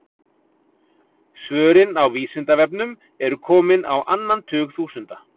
Svörin á Vísindavefnum eru komin á annan tug þúsunda.